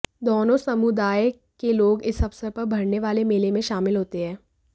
दोनों समुदाय के लोग इस अवसर पर भरने वाले मेले में शामिल होते हैं